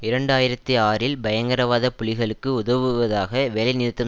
இரண்டு ஆயிரத்தி ஆறில் பயங்கரவாத புலிகளுக்கு உதவுவதாக வேலைநிறுத்தம்